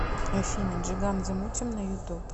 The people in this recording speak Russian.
афина джиган замутим на ютуб